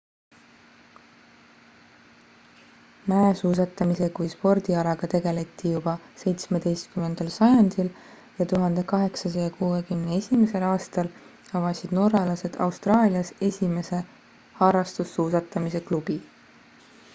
mäesuusatamise kui spordialaga tegeleti juba 17 sajandil ja 1861 aastal avasid norralased austraalias esimese harrastussuusatamise klubi